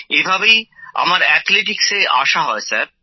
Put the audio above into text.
এভাবেই আমার অ্যাথলেটিক্সে আসা হয় স্যার